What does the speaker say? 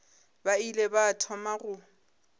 ba ile ba thoma go